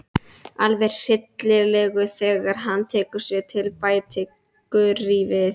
Alveg hryllilegur þegar hann tekur sig til, bætti Gurrý við.